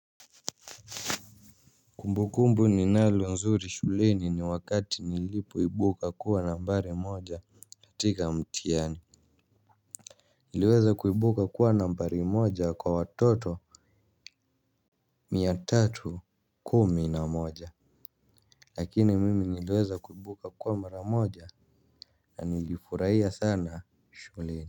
Kumbukumbu ninalo nzuri shuleni ni wakati nilipoibuka kuwa nambari moja katika mtihani. Niliweza kuibuka kuwa nambari moja kwa watoto. Mia tatu kumi na moja. Lakini mimi niliweza kuibuka kuwa mara moja na nilifurahia sana shuleni.